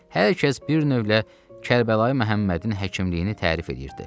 Hər kəs bir növlə Kərbəlayı Məhəmmədin həkimliyini tərif eləyirdi.